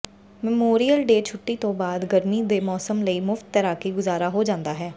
memorial Day ਛੁੱਟੀ ਤੋਂ ਬਾਅਦ ਗਰਮੀ ਦੇ ਮੌਸਮ ਲਈ ਮੁਫ਼ਤ ਤੈਰਾਕੀ ਗੁਜ਼ਾਰਾ ਹੋ ਜਾਂਦਾ ਹੈ